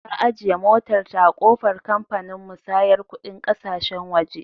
Ta ajiye motarta a ƙofar kamfanin musayar kuɗin ƙasashen waje.